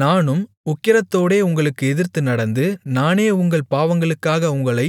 நானும் உக்கிரத்தோடே உங்களுக்கு எதிர்த்து நடந்து நானே உங்கள் பாவங்களுக்காக உங்களை